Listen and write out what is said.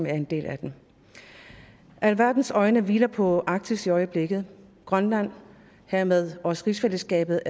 en del af alverdens øjne hviler på arktis i øjeblikket grønland og hermed også rigsfællesskabet